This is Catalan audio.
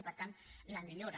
i per tant la millora